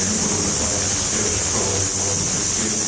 они будут автоматически расшифровываться вот тестирую